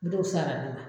N t'o sara ne ma